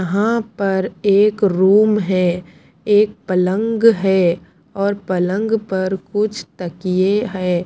यहां पर एक रूम है एक पलंग है और पलंग पर कुछ तकिए हैं।